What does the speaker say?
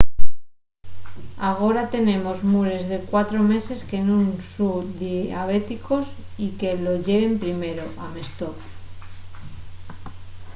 agora tenemos mures de 4 meses que nun son diabéticos y que lo yeren primero,” amestó